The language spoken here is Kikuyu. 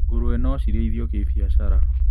Ngũrũwe nocirĩithio kĩbiacara.